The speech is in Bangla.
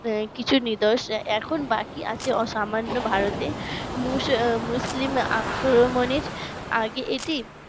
কিছু নিদর্শন এখন বাকি আছে সামান্য ভারতে মুসলিম আক্রমণে আগে এটি